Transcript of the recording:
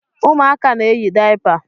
Ụmụaka na-eyi dayapa.